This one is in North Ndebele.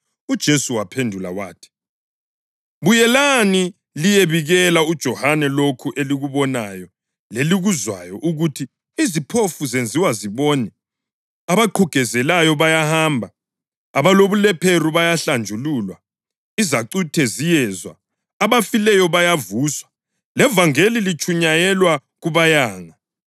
UJesu waphendula wathi, “Buyelani liyebikela uJohane lokhu elikubonayo lelikuzwayo ukuthi iziphofu zenziwa zibone, abaqhugezelayo bayahamba, abalobulephero bayahlanjululwa, izacuthe ziyezwa, abafileyo bayavuswa, levangeli liyatshunyayelwa kubayanga.